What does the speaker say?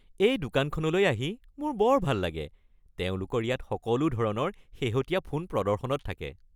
এই দোকানখনলৈ আহি মোৰ বৰ ভাল লাগে। তেওঁলোকৰ ইয়াত সদায় সকলো ধৰণৰ শেহতীয়া ফোন প্ৰদৰ্শনত থাকে।